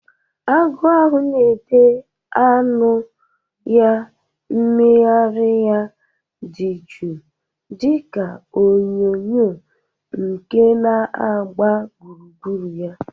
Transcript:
Agụ ahụ na-ede anu ya, mmegharị ya dị jụụ dị ka onyinyo nke na-agba gburugburu ya.